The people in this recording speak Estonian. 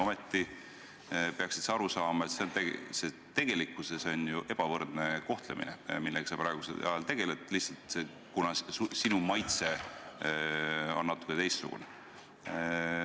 Ometi peaksid sa aru saama, et see on ju ebavõrdne kohtlemine, millega sa praegu tegeled, sa teed seda lihtsalt sellepärast, kuna sinu maitse on natuke teistsugune.